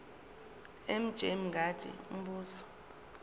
mj mngadi umbuzo